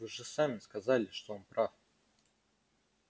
вы же сами сказали что он прав